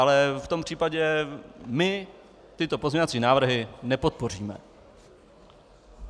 Ale v tom případě my tyto pozměňovací návrhy nepodpoříme.